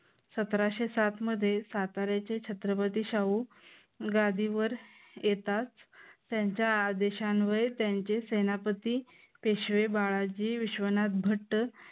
सतराशे सात मध्ये साताऱ्याचे छत्रपती शाहू गादीवर येताच, त्यांच्या आदेशान्वये त्यांचे सेनापती पेशवे बाळाजी, विश्वनाथ भट्ट